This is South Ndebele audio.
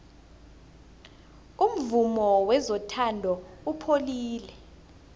umvumo wezothando upholile